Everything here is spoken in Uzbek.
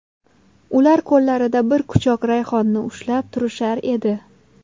Ular qo‘llarida bir quchoq rayhonni ushlab turishar edi.